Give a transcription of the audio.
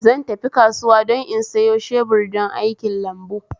Zan tafi kasuwa don in sayo shebur don aikin lambu